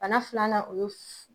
Bana filanan o ye